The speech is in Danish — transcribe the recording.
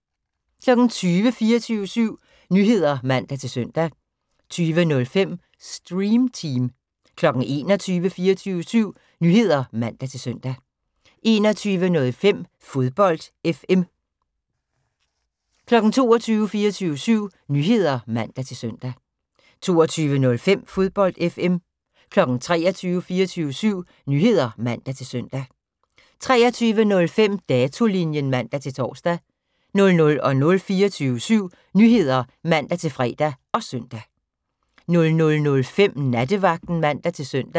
20:00: 24syv Nyheder (man-søn) 20:05: Stream Team 21:00: 24syv Nyheder (man-søn) 21:05: Fodbold FM 22:00: 24syv Nyheder (man-søn) 22:05: Fodbold FM 23:00: 24syv Nyheder (man-søn) 23:05: Datolinjen (man-tor) 00:00: 24syv Nyheder (man-fre og søn) 00:05: Nattevagten (man-søn)